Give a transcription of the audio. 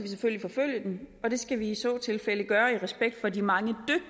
selvfølgelig forfølge den og det skal vi i så tilfælde gøre i respekt for de mange